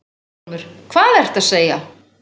VILHJÁLMUR: Hvað ertu að segja!